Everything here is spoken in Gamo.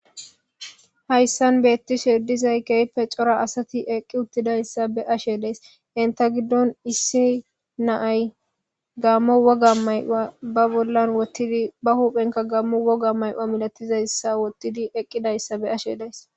hayssan beettishe dizay kehipe cora asati eqqi uttidayssa be'ashe das inta giddon issi naay gammo woga mayuwa ba bollan wottidi ba huuphenka gammo woga may'ua milatizayssa wottidi eqqidayssa beashe days